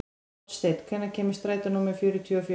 Oddsteinn, hvenær kemur strætó númer fjörutíu og fjögur?